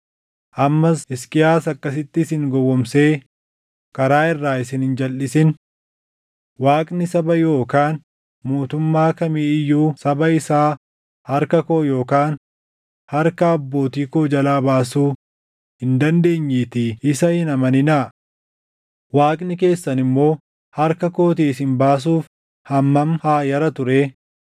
Ammas Hisqiyaas akkasitti isin gowwoomsee karaa irraa isin hin jalʼisin. Waaqni saba yookaan mootummaa kamii iyyuu saba isaa harka koo yookaan harka abbootii koo jalaa baasuu hin dandeenyeetii isa hin amaninaa. Waaqni keessan immoo harka kootii isin baasuuf hammam haa yaratu ree!”